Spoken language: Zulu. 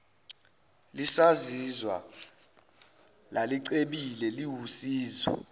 lisazizwa lalicebile liwusizo